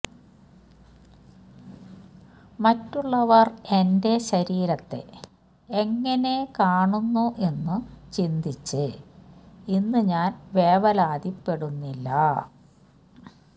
മറ്റുള്ളവർ എന്റെ ശരീരത്തെ എങ്ങനെ കാണുന്നു എന്നു ചിന്തിച്ച് ഇന്ന് ഞാൻ വേവലാതിപ്പെടുന്നില്ല